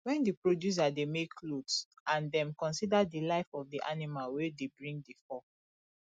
when di producer dey make cloth and dem consider di life of di animal wey dey bring di fur